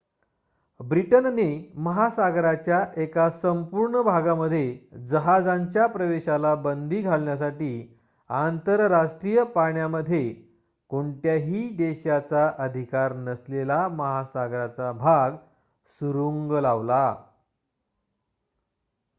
ब्रिटनने महासागराच्या एका संपूर्ण भागामध्ये जहाजांच्या प्रवेशाला बंदी घालण्यासाठी आंतरराष्ट्रीय पाण्यामध्ये कोणत्याही देशाचा अधिकार नसलेला महासागराचा भाग सुरुंग लावला